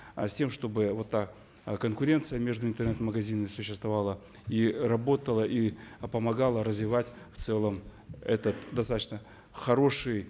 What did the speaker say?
э с тем чтобы вот та э конкуренция между интернет магазинами существовала и работала и э помогала развивать в целом этот достаточно хороший